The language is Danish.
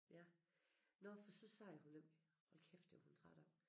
Ja nåh for så sagde hun nemlig hold kæft det var hun træt af